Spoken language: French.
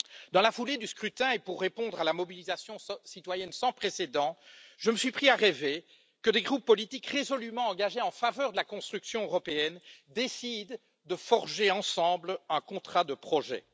Dans la foulée du scrutin, et pour répondre à la mobilisation citoyenne sans précédent, je me suis pris à rêver que des groupes politiques résolument engagés en faveur de la construction européenne décidaient de forger ensemble un contrat de projet.